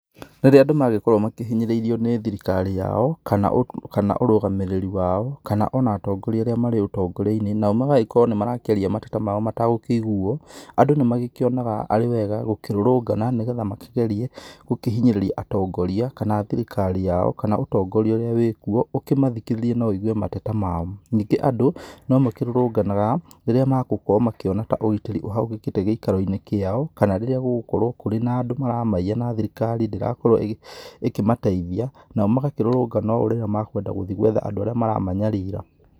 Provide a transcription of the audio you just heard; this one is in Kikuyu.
Rĩrĩa andũ mangĩkorwo makĩhinyĩrĩirio nĩ thirikari yao kana ũrũgamĩrĩri wao kana ona atongoria arĩa marĩ ũtongoria-inĩ nao nĩ magagĩkorwo nĩ marakĩaria na mateta mao matagũkĩiguo andũ nĩ magĩkĩonaga arĩ wega gũkĩrũrũngana nĩgetha makĩgerie gũkĩhinyĩrĩria atongoria kana thirikari yao kana ũtongoria ũrĩa wĩkuo ũkĩmathikĩrĩrie na wũigue mateta mao ningĩ andũ no makĩrũrũnganaga rĩrĩa magũkorwo makĩona ta ũgitĩri ũhagũkĩte gĩikaro-inĩ kĩao kana rĩrĩa gũgũkorwo kũrĩ na andũ maramaiya na thirikari ndĩrakorwo ĩkĩmateithia nao magakĩrũrũngana ũũ rĩrĩa makwenda gũthiĩ gwetha andũ arĩa maramanyarira.